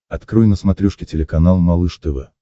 открой на смотрешке телеканал малыш тв